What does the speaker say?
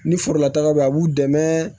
Ni forola taga be yen a b'u dɛmɛ